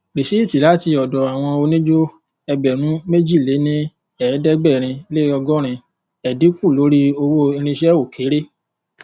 rìsíìtì láti ọdọ àwọn oníjó ẹgbèrúnméjìléníẹẹdẹgbẹrinleọgọrin ẹdínkù lórí àwọn irinṣẹ o kere